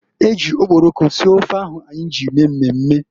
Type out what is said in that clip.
Eji okporoko sie ofe ahu anyị mee mmemme.